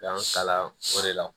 Y'an kalan o de la